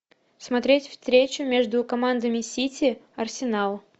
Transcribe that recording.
смотреть встречу между командами сити арсенал